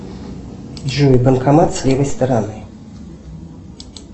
джой банкомат с левой стороны